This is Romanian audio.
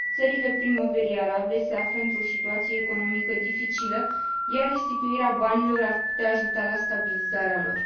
Țările Primăverii arabe se află într o situație economică dificilă, iar restituirea banilor ar putea ajuta la stabilizarea lor.